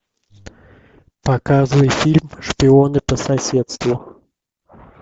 показывай фильм шпионы по соседству